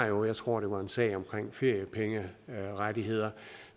jo jeg tror det var en sag omkring feriepengerettigheder